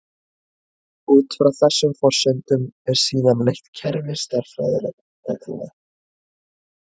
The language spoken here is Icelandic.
Út frá þessum forsendum er síðan leitt kerfi stærðfræðireglna.